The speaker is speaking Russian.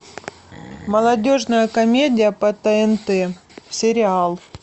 молодежная комедия по тнт сериал